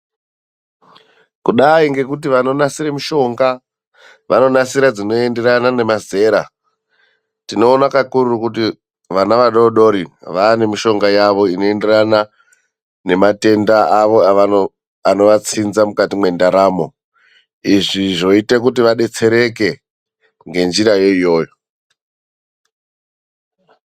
Kudai ngekuti vanonasira mishonga vanonasira dzinoenderana nemazera. Tinoona kakurutu vana vadodori vaane mishonga yavo inoenderana nematenda avo anovatsinza mukati mendaramo izvi zvoita kuti vadetsereke ngenjira yona iyoyo.